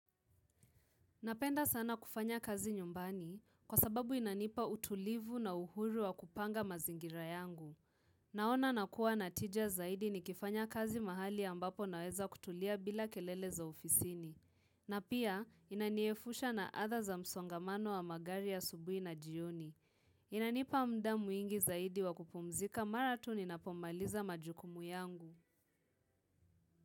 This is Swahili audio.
Napenda sana kufanya kazi nyumbani kwa sababu inanipa utulivu na uhuru wa kupanga mazingira yangu. Naona nakuwa na tija zaidi ni kifanya kazi mahali ambapo naweza kutulia bila kelele za ofisini. Na pia inaniefusha na atha za msongamano wa magari asubuhi na jioni. Inanipa muda mwingi zaidi wa kupumzika mara tu ninapomaliza majukumu yangu.